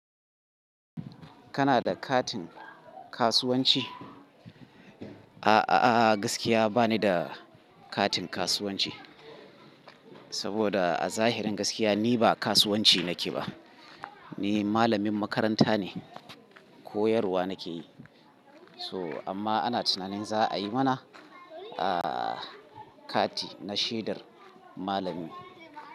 Kana da katin kasuwanci? A'a, gaskiya ba ni da katin kasuwanci. Saboda a zahirin gaskiya ni ba kasuwanci nake ba. Ni malamin makaranta ne, koyarwa nake yi. So amma ana tunanin za a yi mana, ah, kati na shaidar malami.